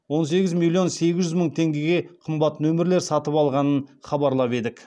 он сегіз миллион сегіз жүз мың теңгеге қымбат нөмірлер сатып алғанын хабарлап едік